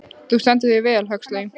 Þú stendur þig vel, Huxley!